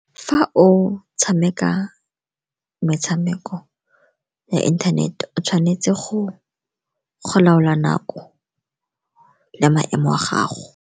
Fa o tshameka metshameko ya inthanete o tshwanetse go laola nako le maemo a gago.